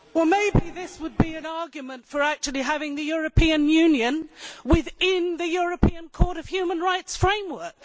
Maybe this would be an argument for actually having the European Union within the European Court of Human Rights framework?